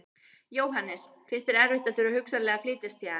Jóhannes: Finnst þér erfitt að þurfa hugsanlega að flytjast héðan?